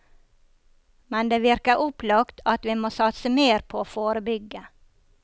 Men det virker opplagt at vi må satse mer på å forebygge.